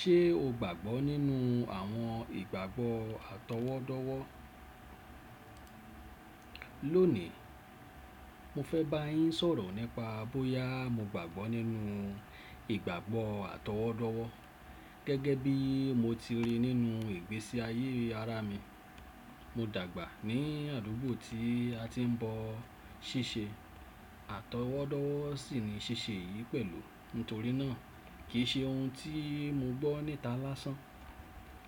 Ṣé o gbàgbọ́ nínú àwọn ìgbàgbọ́ àtọwọ́dọ́wọ́? Lónìí, mo fẹ́ bá yín sọ̀rọ̀ nípa bóyá mo gbàgbọ́ nínú ìgbàgbọ́ àtọwọ́dọ́wọ́ gẹ́gẹ́ bí mo ti ríi nínú ìgbésí ayé ara mi. Mo dàgbà ní àdúgbò tí a ti ń bọ ṣíṣe, àtọwọ́dọ́wọ́ sì ni ṣíṣe yìí pẹ̀lú. Nítorí náà, kì í ṣe ohun tí mo gbọ́ níta lásán.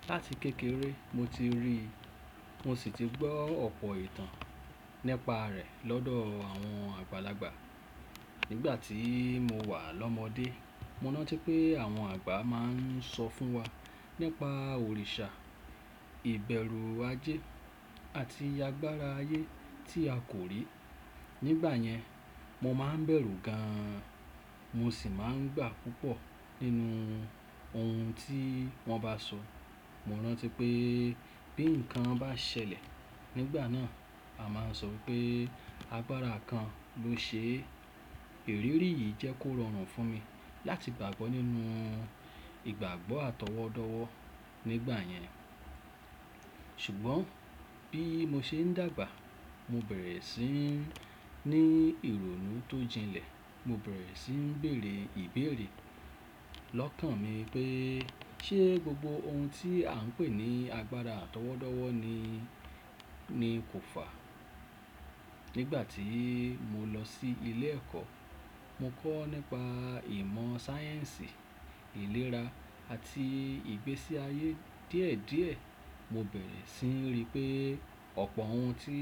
Láti kékeré, mo ti rí i, mo sì ti gbọ́ ọ̀pọ̀ ìtàn nípa rẹ̀ lọ́dọ̀ àwọn àgbàlagbà. Nígbà tí mo wà l'ọ́mọdé, mo rántí pé àwọn àgbà máa ń sọ fún wa nípa òrìṣà, ìbẹ̀rù ajé àti agbára ayé tí a kò rí. Nígbà yẹn, mo máa ń bẹ̀rù gan-an, mo sì máa ń gbà púpọ̀ nínú ohun tí wọ́n bá sọ. Mo rántí pé bí nǹkan bá ṣẹlẹ̀ nígbà náà, a máa ń sọ pé agbára kan ló ṣe é. Ìrírí yìí jẹ́ kó rọrùn fún mi láti gbàgbọ́ nínú ìgbàgbọ́ àtọwọ́dọ́wọ́ nígbà yẹn. Ṣùgbọ́n bí mo ṣe ń dàgbà, mo bẹ̀rẹ̀ sí ní ìrònú tó jinlẹ̀, mo bẹ̀rẹ̀ sí ń bèèrè ìbéèrè lọ́kàn mi pé ṣé gbogbo ohun tí à ń pè ní agbára àtọwọ́dọ́wọ́ ni nii kò fà? Nígbà tí mo lọ sí ilé ẹ̀kọ́, mo kọ́ nípa ìmọ̀ sáyẹ́ǹsì, ìlera àti ìgbésí ayé díẹ̀ díẹ̀. Mo bẹ̀rẹ̀ sí ń rí pé ọ̀pọ̀ ohun tí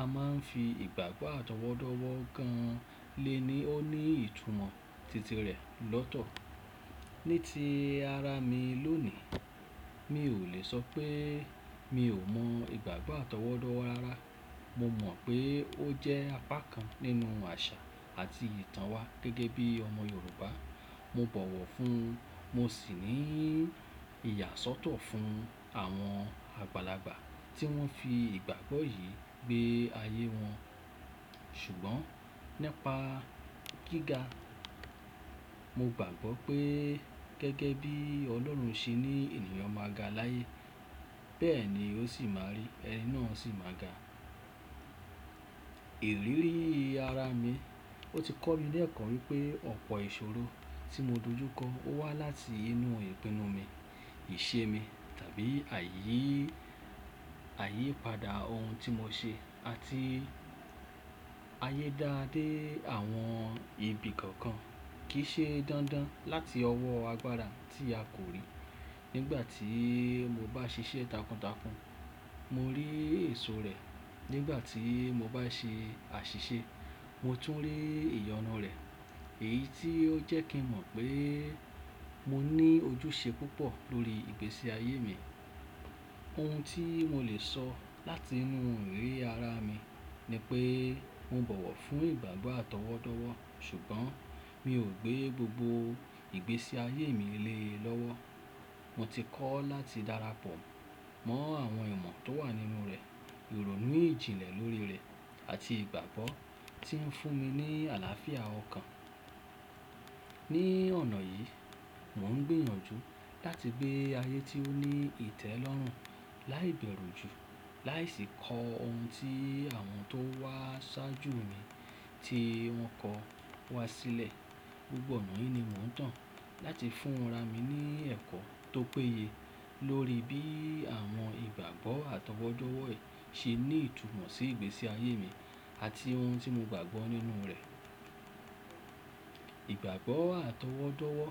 a máa ń fi ìgbàgbọ́ àtọwọ́dọ́wọ́ gan-an lé ni ó ní ìtumọ̀ titi rẹ̀ lọ́tọ̀. Ní ti ara mi lónìí, mi ò lè sọ pé mi ò mọ ìgbàgbọ́ àtọwọ́dọ́wọ́ rara. Mo mọ̀ pé ó jẹ́ apá kan nínú àṣà àti ìtàn wa gẹ́gẹ́ bí ọmọ Yorùbá. Mo bọ̀wọ̀ fún, mo sì ní ìyàsọ́tọ̀ fún àwọn àgbàlagbà tí wọ́n fi ìgbàgbọ́ yìí gbé ayé wọn. Ṣùgbọ́n nípa gíga, mo gbàgbọ́ pé gẹ́gẹ́ bí Ọlọ́run ṣe ní ènìyàn máa ga láyé, bẹ́ẹ̀ ni ó sì máa rí, ẹni náà sì máa ga. Ìrírí ara mi, ó ti kọ́ mi l'ẹ́ko wípé ọ̀pọ̀ ìṣòro tí mo dojúkọ ó wá láti inú ìpinnu mi, ìṣe mi tàbí ayi, àyípadà ohun tí mo ṣe àti ayé dá dé àwọn ibi kankan kì í ṣe dandan láti ọwọ́ agbára tí a kò rí. Nígbà tí mo bá ṣiṣẹ́ takuntakun, mo rí èso rẹ̀. Nígbà tí mo bá ṣe àṣìṣe, mo tún rí ìyọnu rẹ̀. Èyí tí ó jẹ́ kí n mọ̀ pé mo ní ojúṣe púpọ̀ lórí ìgbésí ayé mi. Ohun tí mo lè sọ láti inú ìrírí ara mi ni pé mo bọ̀wọ̀ fún ìgbàgbọ́ àtọwọ́dọ́wọ́, ṣùgbọ́n mi ò gbé gbogbo ìgbésí ayé mi lé e lọ́wọ́. Mo ti kọ́ láti dára pọ̀ mọ́ àwọn ìmọ̀ tó wà nínú rẹ̀, ìrònú ìjìnlẹ̀ lórí rẹ̀ àti ìgbàgbọ́ tí ń fún mi ní àlàáfíà ọkàn. Ní ọ̀nà yìí, mò ń gbìyànjú láti gbé ayé tí ó ní ìtẹ́lọ́rùn láì bẹ̀rù jù, láì sí ko ohun tí àwọn tó wá ṣáájú mi tí wọ́n kọ wá sílẹ̀. Gbogbo ọ̀nà yìí ni mò ń to láti fún ara mi ní ẹ̀kọ́ tó péye lórí bí àwọn ìgbàgbọ́ àtọwọ́dọ́wọ́ yìí ṣe ní ìtumọ̀ sí ìgbésí ayé mi àti ohun tí mo gbàgbọ́ nínú rẹ̀. Ìgbàgbọ́ àtọwọ́dọ́wọ́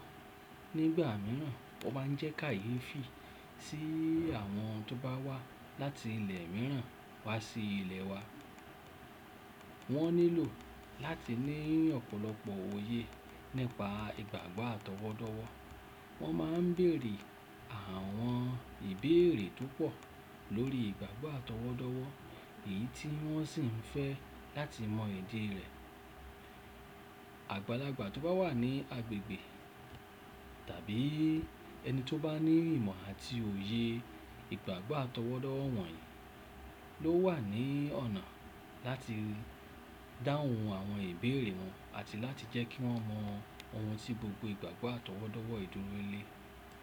nígbà mìíràn tó bá ń jẹ́ káyeefi sí àwọn tó bá wá láti ilẹ̀ mìíràn wá sí ilẹ̀ wa. Wọ́n nílò láti ní ọ̀pọ̀lọpọ̀ òye nípa ìgbàgbọ́ àtọwọ́dọ́wọ́. Wọ́n máa ń bèèrè àwọn ìbéèrè tó pọ̀ lórí ìgbàgbọ́ àtọwọ́dọ́wọ́, èyí tí wọ́n sì ń fẹ́ láti mọ ìdí rẹ̀. Àgbàlagbà tó bá wà ní agbègbè tàbí ẹni tó bá ní ìmọ̀ àti òye ìgbàgbọ́ àtọwọ́dọ́wọ́ wọ̀nyí ló wà ní ọ̀nà láti dáhùn àwọn ìbéèrè wọn àti láti jẹ́ kí wọ́n mọ ohun tí gbogbo ìgbàgbọ́ àtọwọ́dọ́wọ́ yii duro le.